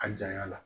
A janya la